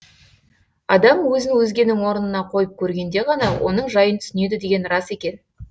адам өзін өзгенің орнына қойып көргенде ғана оның жайын түсінеді деген рас екен